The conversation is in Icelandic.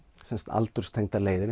aldurstengdar leiðir